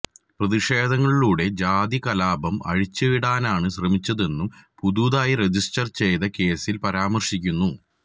പ്രതിഷേധങ്ങളിലൂടെ ജാതി കലാപം അഴിച്ചുവിടാന് ശ്രമിച്ചെന്നും പുതുതായി രജിസ്റ്റര് ചെയ്ത കേസില് പരാമര്ശിക്കുന്നു